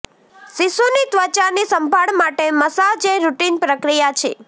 શિશુની ત્વચાની સંભાળ માટે મસાજ એક રૂટિન પ્રક્રિયા છે